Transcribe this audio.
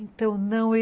Então, não.